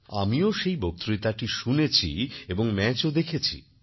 আমিও সেই বক্তৃতাটি শুনেছি এবং ম্যাচও দেখেছি